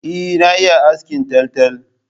Eh na iya askin taltal